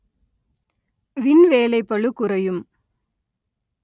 win வேலைப்பளு குறையும்